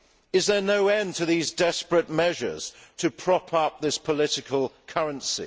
Is there no end to these desperate measures to prop up this political currency?